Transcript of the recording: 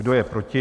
Kdo je proti?